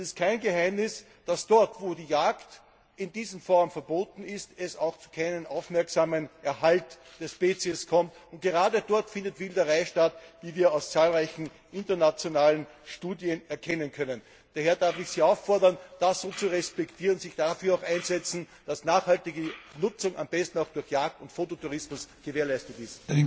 Es ist kein Geheimnis, dass es dort, wo die Jagd in dieser Form verboten ist, auch zu keinem aufmerksamen Erhalt der Spezies kommt, sondern gerade dort findet Wilderei statt, wie wir aus zahlreichen internationalen Studien erkennen können. Daher darf ich Sie auffordern, das zu respektieren und sich dafür einzusetzen, dass nachhaltige Nutzung am besten auch durch Jagd und Fototourismus gewährleistet ist.